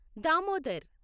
Damodar